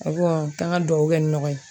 taa n ka dugawu kɛ ɲɔgɔn ye